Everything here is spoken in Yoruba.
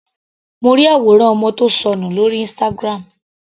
Mo ri àwòrán ọmọ tí ó sọnù lórí Instagram.